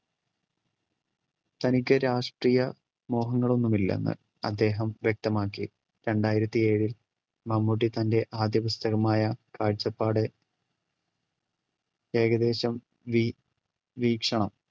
തനിക്ക് രാഷ്ട്രീയ മോഹങ്ങൾ ഒന്നുമില്ലെന്ന് അദ്ദേഹം വ്യക്തമാക്കി രണ്ടായിരത്തി ഏഴിൽ മമ്മൂട്ടി തൻറെ ആദ്യ പുസ്തകമായ കാഴ്ചപ്പാട് ഏകദേശം വീ വീക്ഷണം